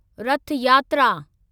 रथ यात्रा